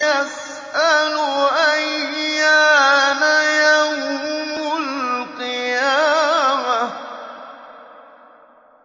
يَسْأَلُ أَيَّانَ يَوْمُ الْقِيَامَةِ